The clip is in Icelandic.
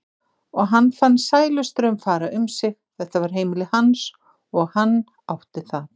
og hann fann sælustraum fara um sig- þetta var heimili hans og hann átti það.